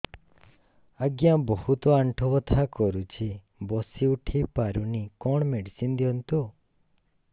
ଆଜ୍ଞା ବହୁତ ଆଣ୍ଠୁ ବଥା କରୁଛି ବସି ଉଠି ପାରୁନି କଣ ମେଡ଼ିସିନ ଦିଅନ୍ତୁ